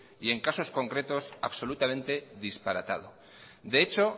y en caso concretos absolutamente disparatado de hecho